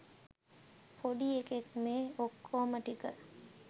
පොඩි එකෙක් මේ ඔක්කෝම ටික